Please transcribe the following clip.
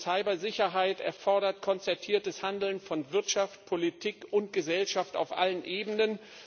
Cybersicherheit erfordert konzertiertes Handeln von Wirtschaft, Politik und Gesellschaft auf allen Ebenen.